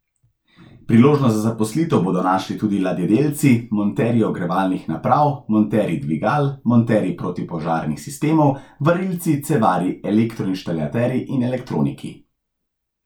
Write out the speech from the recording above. Priložnost za zaposlitev bodo našli tudi ladjedelci, monterji ogrevalnih naprav, monterji dvigal, monterji protipožarnih sistemov, varilci, cevarji, elektroinštalaterji in elektroniki.